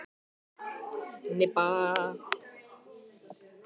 Hann leiðrétti hana ekki.